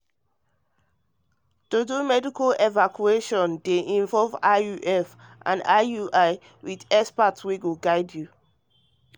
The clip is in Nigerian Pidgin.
to do medical evaluation dey involve ivf and involve ivf and iui with expert wey go guide you